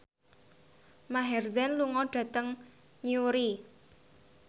Maher Zein lunga dhateng Newry